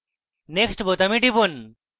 next বোতামে টিপুন